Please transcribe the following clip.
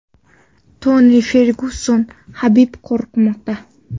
Toni Fergyuson: Habib qo‘rqmoqda.